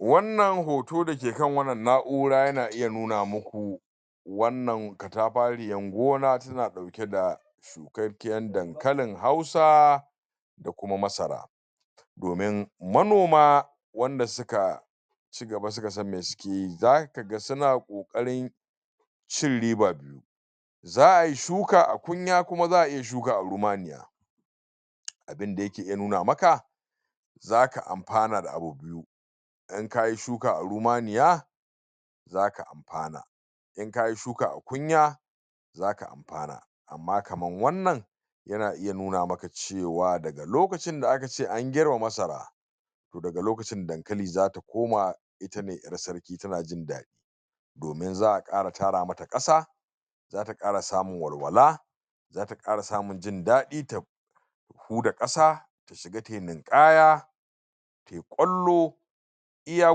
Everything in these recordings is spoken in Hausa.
wannan hoto dake kan wannan na'ura yana iya nuna maku wannan katafariyan gona tana dauke da shukarkiyar dankalin hausa da kuma masara domin manoma wanda suka chigaba suka san me suke yi zaka ga suna kokarin cin riba biyu za ay shuka a qunya kuma zaa iya shuka a rumaniya abunda yake iya nuna maka zaka amfana da abu idan kayi shuka a ruumaniya zaka amfana in kayi shuka a qunya zaka amfana ma kaman wannan yana iya nuna maka cewa da lokacin da akace an girbe masara to daga lokacin dankali zata koma ita ne yar sarki tana jin dadi domin zaa kara tara mata kasa zata kara samun walwala za ta kara samun jin dadi ta ta hud'a kasa kiga tayi ninkaya tai kwallo iya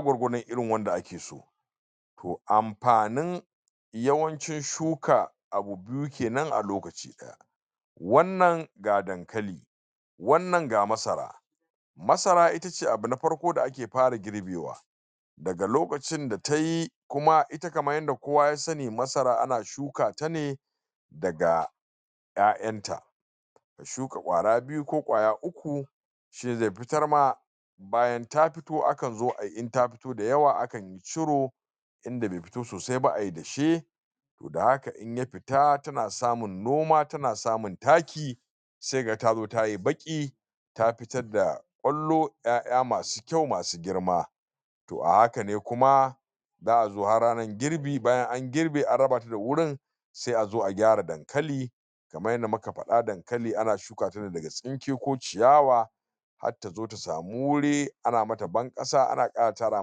gwargwadon irin wanda ake to amfanin yawancin shuka abu biyu kenan a lokaci daya wannan ga dankali wannan ga masara masara itace abu ne na farko da ake fara girbewa daga lokacin da tayi kuma ita kamar yadda kowa ya sani masara ana shuka tane daga 'ya'yanta shuka kwara biyu ko qwaya uku shine zai fitar ma bayan ta to akan zo ayi idan ta fito da yawa akanyi ciro inda be fito sosai ba ayi dashe to da haka in ya fita tana samun noma tana samun taki sai kaga ta zo tayi baqi ta fitar da kwallo 'ya'ya masu kyau masu girma to a haka ne kuma zaa zo har rannan girbi bayan an girbe an rabata da wurin sai azo a gyara dankali kamar yanda muka fada dankali ana shuka tane daga tsinke ko ciyawa har ta zo ta samu wuri ana mata ban kasa ana tara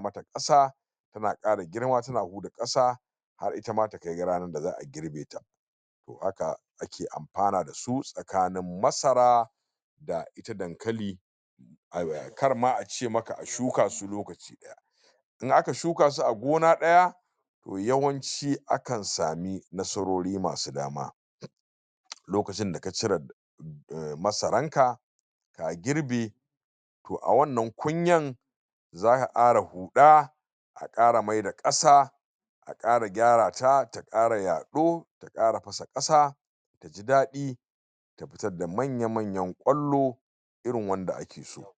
mata kasa tana kara girma tana buda kasa har itama ta kai rannan da zaa girbe ta to haka ake amfana dasu tsakanin masara da ita dankali ay wa kar ma ace maka a shuka su lokaci daya in aka shuka su a gona daya to yawanci akan sami nasarori masu dama lokacin da ka cire masaran ka ka girbe to a wannan qunyan zaka kara huda a kara maida kasa a kara gyarata ta kara yad'o ta kara fasa kasa taji dadi ta fitar da manya manyan kwallo irin wanda ake so